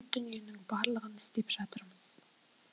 дүниенің барлығын істеп жатырмыз